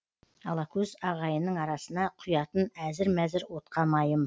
алакөз ағайынның арасына құятын әзір мәзір отқа майым